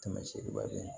Kɛmɛ seegin ba bɛ